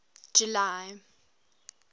july